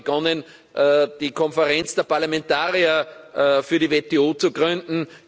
Wir haben dann begonnen, die Konferenz der Parlamentarier für die WTO zu gründen.